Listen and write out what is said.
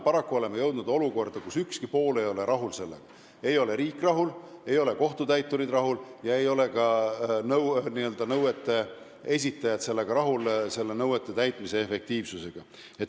Paraku oleme jõudnud olukorda, kus ükski pool ei ole rahul: ei ole riik rahul, ei ole kohtutäiturid rahul ega ole ka nõuete esitajad rahul nõuete täitmise efektiivsusega.